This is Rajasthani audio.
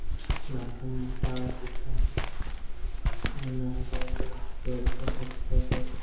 खम्बा टावर दिखे है उन हरियाली है पेड़ पौधा दिखाई दे है।